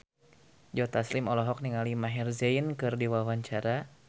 Joe Taslim olohok ningali Maher Zein keur diwawancara